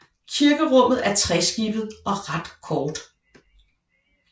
Kirkerummet er treskibet og ret kort